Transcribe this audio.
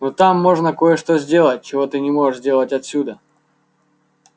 но там можно кое-что сделать чего ты не можешь сделать отсюда